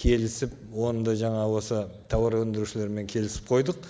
келісіп оны да жаңа осы тауар өндірушілермен келісіп қойдық